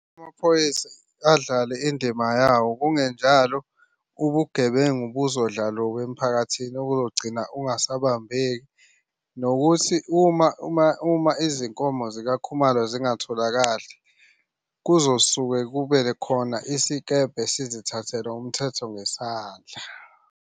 Amaphoyisa adlale indima yawo kungenjalo ubugebengu buzodla lubi emphakathini okuzogcina ungasabambeki. Nokuthi uma izinkomo zikaKhumalo zingatholakali, kuzosuke kube khona isikebhe sizithathele umthetho ngesandla.